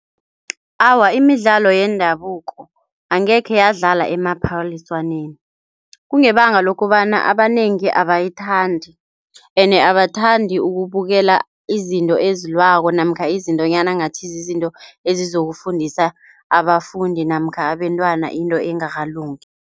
Awa, imidlalo yendabuko angekhe yadlala emaphaliswaneni kungebanga lokobana abanengi abayithandi ene abathandi ukubukela izinto ezilwako namkha izintonyana ngathi zizinto ezizokufundisa abafundi namkha abentwana into engakalungi.